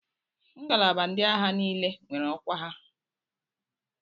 Ngalaba ndị agha niile nwere ọkwa ha.